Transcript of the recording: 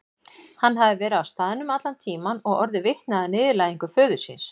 Hann hafði verið á staðnum allan tíman og orðið vitni að niðurlægingu föður síns.